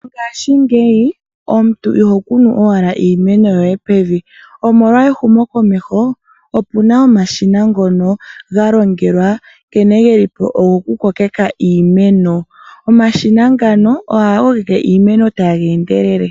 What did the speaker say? Mongaashingeyi omuntu iho kunu owala iimeno yo ye pevi, omolwa ehumo komeho; opu na omashina ngono galongekeka nkene ge li po o goku kokeka iimeno. Omashina ngano oha ga kokeke iimeno ta ga endelele.